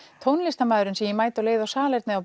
tónlistarmaðurinn sem ég mæti á leið á salernið